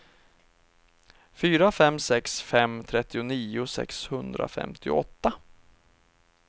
fyra fem sex fem trettionio sexhundrafemtioåtta